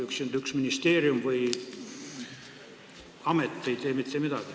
Üksinda ei tee üks ministeerium või amet mitte midagi.